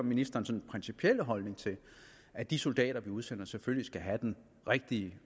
ministerens principielle holdning til det at de soldater vi udsender selvfølgelig skal have den rigtige